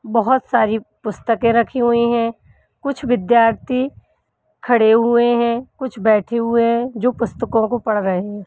बहोत सारी पुस्तकें रखी हुई हैं कुछ विद्यार्थी खड़े हुए हैं कुछ बैठे हुए हैं जो पुस्तकों को पढ़ रहे हैं।